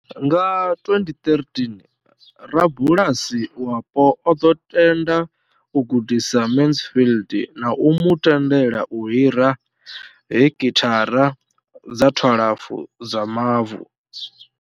Nga 2013, rabulasi wapo o ḓo tenda u gudisa Mansfield na u mu tendela u hira hekithara dza 12 dza mavu.